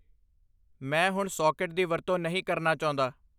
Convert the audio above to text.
ਮੈਂ ਹੁਣ ਸਾਕਟ ਦੀ ਵਰਤੋਂ ਨਹੀਂ ਕਰਨਾ ਚਾਹੁੰਦਾ